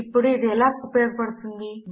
ఇప్పుడు ఇది ఎలా ఉపయోగపడుతుంది